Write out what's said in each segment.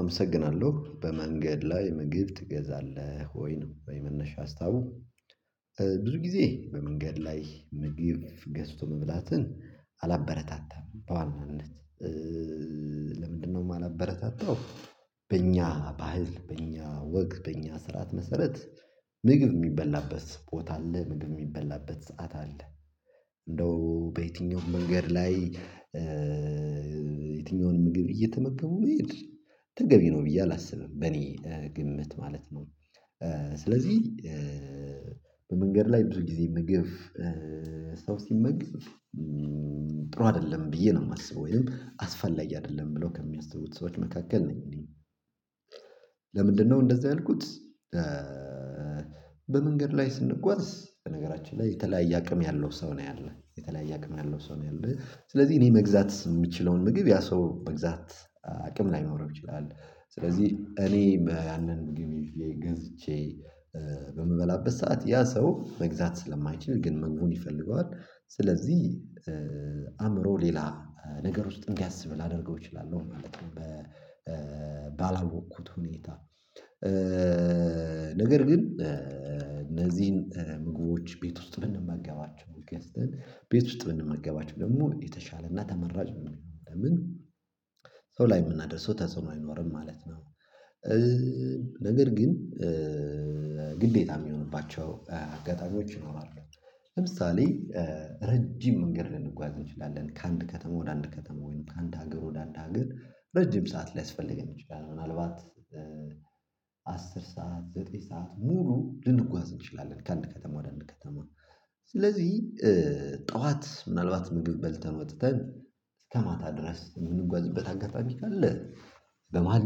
አመሰግናለሁ በመንገድ ላይ ምግብ ትገዛለህ ወይ ነው የመነሻ ሀሳቡ? ብዙ ጊዜ በመንገድ ላይ ምግብ ገዝቶ መብላትን አላበረታታም በዋናነት ለምንድን ነው የማላበረታታው? በእኛ ባህል በእኛ ወግ በእኛ ስርዓት መሰረት ምግብ የሚበላበት ቦታ አለ ምግብ የሚበላበት ሰዓት አለ እንደው በየትኛውም መንገድ ላይ የትኛውንም ምግብ እየተመገቡ መሄድ ተገቢ ነው ብዬ አላስብም በእኔ ግምት ማለት ነው። ስለዚህ በመንገድ ላይ ብዙ ጊዜ ምግብ ሰው ሲመግብ ጥሩ አይደለም ብዬ ነው የማስበው ወይንም አስፈላጊ አይደለም ብለው ከሚያስቡት ሰዎች መካከል ነኝ እኔ። ለምንድነው እንደዛ ያልኩት? በመንገድ ላይ ስንጓዝ በነገራችን ላይ የተለያየ አቅም ያለው ሰው ነው ያለው የተለያየ አቅም ያለው ሰው ነው ያለው ስለዚህ እኔ መግዛት የምችለውን ምግብ ያ ሰው መግዛት አቅም ላይኖረው ይችላል ስለዚህ እኔ በያንን ምግብ ይዤ ገዝቼ በምበላበት ሰዓት ያ ሰው መግዛት ስለማይችል ግን ምግቡን ይፈልገዋል ስለዚህ አእምሮ ሌላ ነገር ውስጥ እንዲያስብ ላደርገው እችላለሁ ማለት ነው። ባላወቅኩት ሁኔታ ነገር ግን እነዚህን ምግቦች ቤት ውስጥ ብንመገባቸው ገዝተን ቤት ውስጥ ብንመገባቸው ደግሞ የተሻለ እና ተመራጭ ነው የሚሆነው ለምን ሰው ላይ የምናደርሰው ተጽዕኖ አይኖርም ማለት ነው። ነገር ግን ግዴታ የሚሆንባቸው አጋጣሚዎች ይኖራሉ ለምሳሌ ረጅም መንገድ ልንጓዝ እንችላለን ከአንድ ከተማ ወደ አንድ ከተማ ወይም ከአንድ ሀገር ወደ አንድ ሀገር ረጅም ሰዓት ሊያስፈልገን ይችላል ምናልባት አስር ሰዓት ዘጠኝ ሰዓት ሙሉ ልንጓዝ እንችላለን ከአንድ ከተማ ወደ አንድ ከተማ ስለዚህ ጠዋት ምናልባት ምግብ በልተን ወጥተን እስከ ማታ ድረስ የምንጓዝበት አጋጣሚ ካለ በመሃል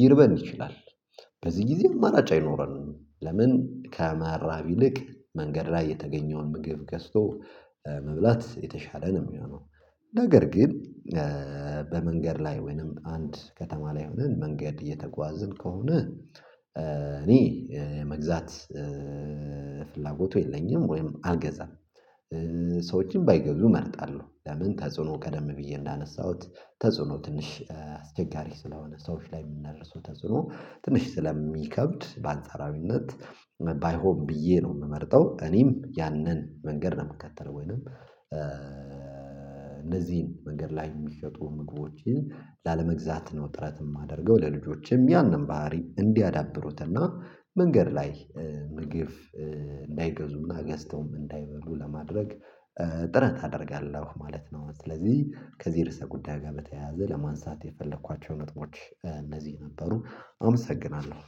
ሊርበን ይችላል በዚህ ጊዜ አማራጭ አይኖረንም ለምን ከመራብ ይልቅ መንገድ ላይ የተገኘውን ምግብ ገዝቶ መብላት የተሻለ ነው የሚሆነው። ነገር ግን በመንገድ ላይ ወይንም አንድ ከተማ ላይ ሆነን መንገድ እየተጓዝን ከሆነ እኔ መግዛት ፍላጎቱ የለኝም ወይም አልገዛም። ሰዎችም ባይገዙ እመርጣለሁ ለምን ተጽዕኖ ቀደም ብዬ እንዳነሳሁት ተጽዕኖ ትንሽ አስቸጋሪ ስለሆነ ሰዎች ላይ የምናደርሰው ተጽዕኖ ትንሽ ስለሚከብድ በአንጻራዊነት ባይሆን ብዬ ነው የምመርጠው እኔም ያንን መንገድ ነው የምከተለው ወይንም እነዚህን መንገድ ላይ የሚሸጡ ምግቦችን ላለመግዛት ነው ጥረት የማደርገው ለልጆችም ያንን ባህሪ እንዲያዳብሩት እና መንገድ ላይ ምግብ እንዳይገዙ እና ገዝተውም እንዳይበሉ ለማድረግ ጥረት አደርጋለሁ ማለት ነው። ስለዚህ ከዚህ ርዕሰ ጉዳይ ጋር በተያያዘ ለማንሳት የፈለኳቸው ነጥቦች እነዚህ ነበሩ አመሰግናለሁ።